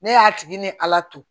Ne y'a tigi ni ala to